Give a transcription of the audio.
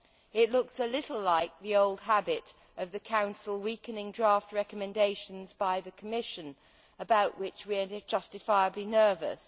It looks a little like the old habit of the Council weakening draft recommendations by the Commission, about which we are justifiably nervous.